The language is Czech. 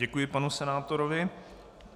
Děkuji panu senátorovi.